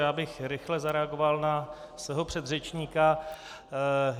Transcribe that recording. Já bych rychle zareagoval na svého předřečníka.